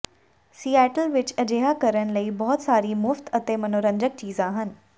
Seattle ਵਿਚ ਅਜਿਹਾ ਕਰਨ ਲਈ ਬਹੁਤ ਸਾਰੀਆਂ ਮੁਫਤ ਅਤੇ ਮਨੋਰੰਜਕ ਚੀਜ਼ਾਂ ਹਨ